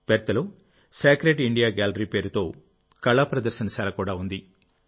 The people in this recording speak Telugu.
పెర్త్లో సాక్రెడ్ ఇండియా గ్యాలరీ పేరుతో కళా ప్రదర్శన శాలకూడా ఉంది